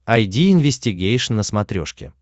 айди инвестигейшн на смотрешке